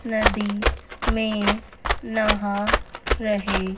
नदी में नहा रहे।